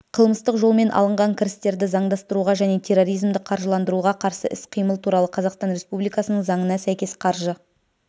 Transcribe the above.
қылмыстық жолмен алынған кірістерді заңдастыруға және терроризмді қаржыландыруға қарсы іс-қимыл туралы қазақстан республикасының заңына сәйкес қаржы